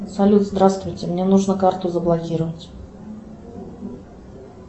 салют здравствуйте мне нужно карту заблокировать